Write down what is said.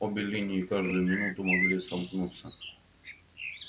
обе линии каждую минуту могли сомкнуться